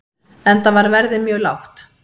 Enda var verðið mjög lágt.